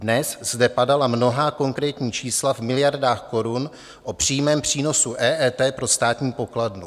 Dnes zde padala mnohá konkrétní čísla v miliardách korun o přímém přínosu EET pro státní pokladnu.